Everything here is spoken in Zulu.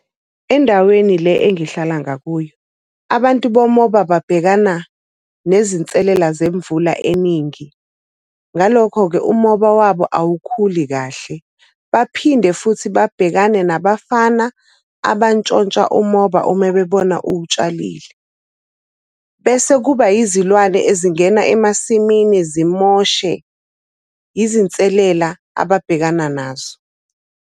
Endaweni le engihlala ngakuyo, abantu bomoba babhekana nezinselela zemvula eningi. Ngalokho-ke umoba wabo awukhuli kahle. Baphinde futhi babhekane nabafana abantshontsha umoba uma bebona uwutshalile. Bese kuba izilwane ezingena emasimini zimoshe. Izinselela ababhekana nazo.